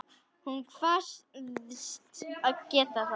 Hún kvaðst geta það.